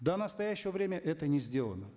до настоящего времени это не сделано